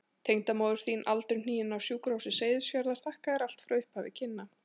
Tengdamóðir þín aldurhnigin, á Sjúkrahúsi Seyðisfjarðar, þakkar þér allt frá upphafi kynna.